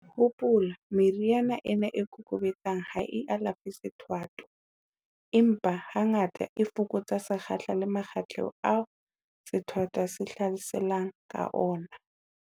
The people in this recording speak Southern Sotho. Hopola, meriana ena e kokobetsang ha e alafe sethwathwa, empa hangata, e fokotsa sekgahla le makgetlo ao sethwathwa se hlaselang ka ona.